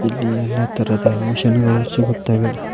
ಇಲ್ಲಿ ಎಲ್ಲಾ ತರದ ಮಿಷನ್ ಗಳು ಸಿಗುತ್ತವೆ.